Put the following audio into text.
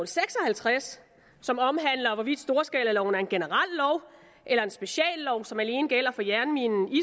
seks og halvtreds som omhandler hvorvidt storskalaloven er en generel lov eller en speciallov som alene gælder for jernminen i